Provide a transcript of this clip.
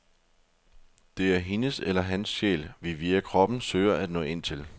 Det er hendes eller hans sjæl, vi via kroppen søger at nå ind til.